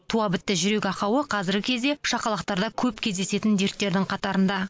туа бітті жүрек ақауы қазіргі кезде шақалақтарда көп кездесетін дерттердің қатарында